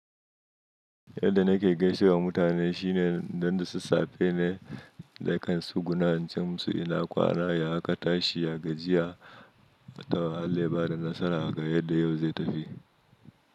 Yadda nake gaishewa mutane shine don da su safe ne na kan tsuguna ince musu ina kwana ya katashi, ya gajiya, to Allah, ya bada nasara ga yadda yau zai tafi.